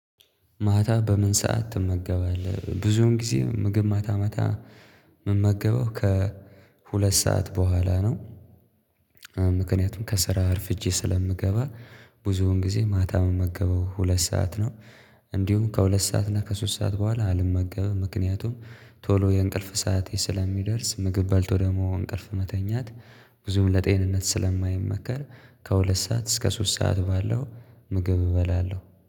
ማታ በምን ሰዓት ትመገባለህ? ብዙን ጊዜ ምግብ ማታ ማታ ምን መገበው ከሁለት ሰዓት በኋላ ነው። ምክንያቱም ከስራ አርፍጄ ስለምገባ ብዙውን ጊዜ ማታ መመገበው ሁለት ሰዓት ነው እንዲሁም ከሁለት ሰዓት እና ከሶስት ሰዓት በኋላ አልመገብም ምክንያቱም ቶሎ የእንቅልፍ ሰዓት ስለሚደርስ ምግብ በልቶ ደግሞ እንቅልፍ መተኛት ብዙም ለጤንነት ስለማይመከር ከሁለት ሰዓት እስከ ሶስት ሰዓት ባለው ምግብ እበላለሁ።